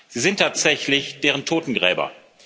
Sie sind tatsächlich deren Totengräber.